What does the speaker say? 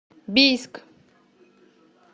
бийск